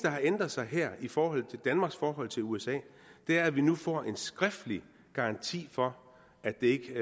har ændret sig her i forhold til danmarks forhold til usa er at vi nu får en skriftlig garanti for at det